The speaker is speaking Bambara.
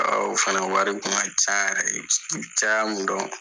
fana wari kun ka ca yɛrɛ i bɛ caya min dɔn.